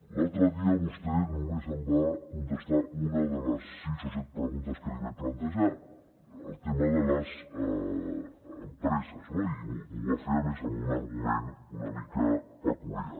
l’altre dia vostè només em va contestar una de les sis o set preguntes que li vaig plantejar el tema de les empreses no i m’ho va fer a més amb un argument una mica peculiar